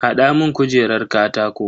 Hada mun kujerar katako.